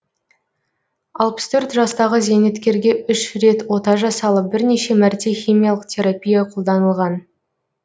алпыс төрт жастағы зейнеткерге үш рет ота жасалып бірнеше мәрте химиялық терапия қолданылған